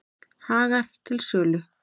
Hagar til sölu